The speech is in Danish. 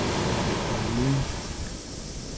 møde